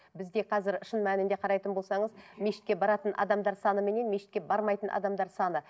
бізде қазір шын мәнінде қарайтын болсаңыз мешітке баратын адамдар саныменен мешітке бармайтын адамдар саны